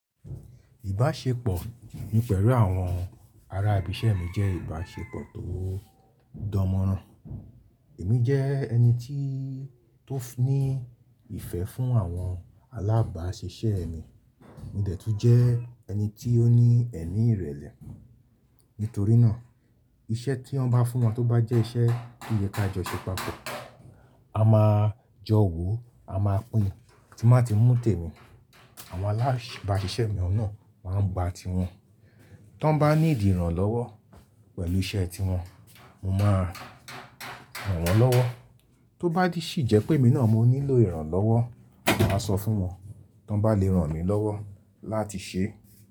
Ìbáṣepọ̀ mi pẹ̀lú àwọn ará ibi iṣẹ́ mi jẹ́ ìbáṣepọ̀ tó dánmọ́nrán. Èmi jẹ́ ẹni tí ó ní ìfẹ́ fún àwọn alábáṣiṣẹ́ mi, mo dẹ̀ tún jẹ́ ẹni tí ó ní ẹ̀mí ìrẹ̀lẹ̀. Nítorí náà iṣẹ́ tí wọ́n bá fún wọn tó bá jẹ́ iṣẹ́ ti ìyẹ́ ta jẹ́ ṣe papọ̀, a máa jọ wò ó, a máa pín in, tí má ti mú tèmi, àwọn alábáṣiṣẹ́ mi ọ̀nà máa ń gba ti wọn. Tí wọ́n bá needi iran lọ́wọ́ pẹ̀lú iṣẹ́ tí wọn, mo máa ràn wọ́n lọ́wọ́. Tó bá sì jẹ́ pé èmi náà mo nílò ìrànlọ́wọ́, màá sọ fún wọn, tí wọ́n bá le ran mi lọ́wọ́ láti ṣe.